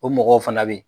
O mɔgɔw fana bɛ yen